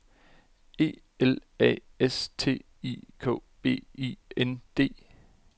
E L A S T I K B I N D